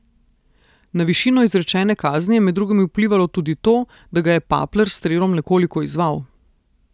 Na višino izrečene kazni je med drugim vplivalo tudi to, da ga je Papler s strelom nekoliko izzval.